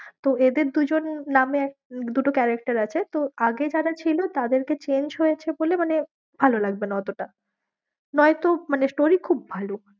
তো এদের দুজন নামে এক দুটো character আছে তো আগে যারা ছিল তাদেরকে change হয়েছে বলে মানে ভালো লাগবে না অতটা নয়তো মানে story খুব ভালো।